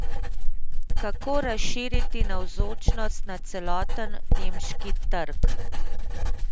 Kako razširiti navzočnost na celoten nemški trg?